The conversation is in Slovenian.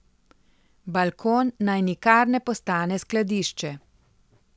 Balkon naj nikar ne postane skladišče.